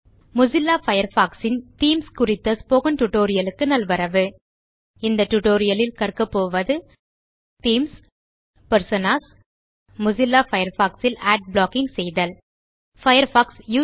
Mozilla Firefox ன் themes குறித்த spoken tutorial க்கு நல்வரவு இந்த டியூட்டோரியல் ல் கற்க போவது தீம்ஸ் பெர்சோனாஸ் மொசில்லா பயர்ஃபாக்ஸ் ல் அட் ப்ளாக்கிங் செய்தல் பயர்ஃபாக்ஸ்